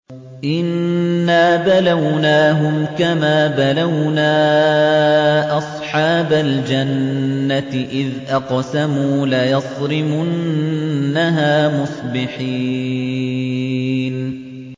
إِنَّا بَلَوْنَاهُمْ كَمَا بَلَوْنَا أَصْحَابَ الْجَنَّةِ إِذْ أَقْسَمُوا لَيَصْرِمُنَّهَا مُصْبِحِينَ